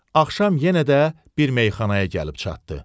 Axşam yenə də bir meyxanaya gəlib çatdı.